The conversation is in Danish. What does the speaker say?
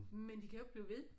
Men de kan jo ikke blive ved